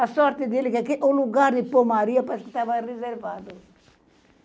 A sorte dele que o lugar de pôr Maria parece que estava reservado.